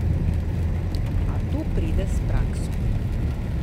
A to pride s prakso.